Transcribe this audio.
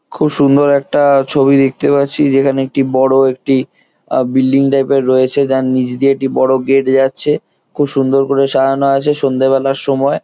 খুব সুন্দর একটা ছবি দেখতে পাচ্ছি সেই খান এ একটা বড়ো একটি্বি‌ল্ডিং টাইপের রয়েছে যার নিচ দিয়ে একটি বড়ো গেট যাচ্ছে খুব সুন্দর করে সাজানো আছে সন্ধে বেলার সময়ে।